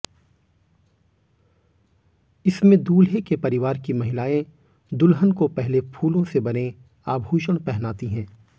इसमें दूल्हे के परिवार की महिलाएं दुल्हन को पहले फूलों से बने आभूषण पहनाती हैं